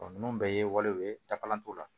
ninnu bɛɛ ye walew ye dafalen t'o la